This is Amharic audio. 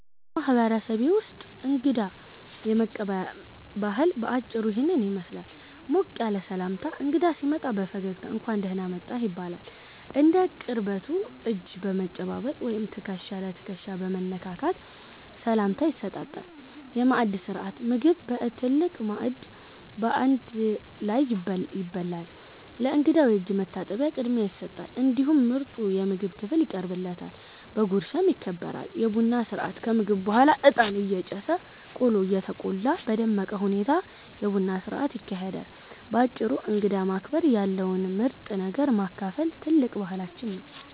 በማህበረሰቤ ውስጥ እንግዳ የመቀበያ ባህል በአጭሩ ይህንን ይመስላል፦ ሞቅ ያለ ሰላምታ፦ እንግዳ ሲመጣ በፈገግታ "እንኳን ደህና መጣህ" ይባላል። እንደ ቅርበቱ እጅ በመጨባበጥ ወይም ትከሻ ለትከሻ በመነካካት ሰላምታ ይሰጣል። የማዕድ ሥርዓት፦ ምግብ በትልቅ ማዕድ በአንድ ላይ ይበላል። ለእንግዳው የእጅ መታጠቢያ ቅድሚያ ይሰጣል፤ እንዲሁም ምርጡ የምግብ ክፍል ይቀርብለታል፣ በጉርሻም ይከበራል። የቡና ሥርዓት፦ ከምግብ በኋላ እጣን እየጨሰ፣ ቆሎ እየተቆላ በደመቀ ሁኔታ የቡና ሥርዓት ይካሄዳል። ባጭሩ እንግዳን ማክበርና ያለውን ምርጥ ነገር ማካፈል ትልቅ ባህላችን ነው።